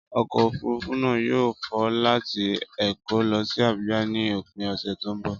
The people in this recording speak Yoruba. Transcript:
Ọkọ̀ òfurufú náà yóò fò láti Èkó lọ sí Abuja ní òpin ọ̀sẹ̀ tó ń bọ̀.